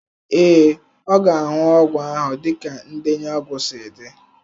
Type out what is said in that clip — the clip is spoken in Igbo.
Ee, ọ ga-aṅụ ọgwụ ahụ dịka ndenye ọgwụ si dị.